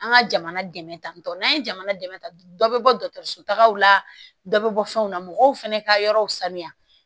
An ka jamana dɛmɛ tantɔ n'an ye jamana dɛmɛ dɔ bɛ bɔ dɔgɔtɔrɔsow la dɔ bɛ bɔ fɛnw na mɔgɔw fana ka yɔrɔw sanuya